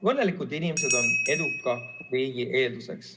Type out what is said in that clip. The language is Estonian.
Õnnelikud inimesed on eduka riigi eelduseks.